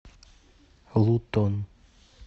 лутон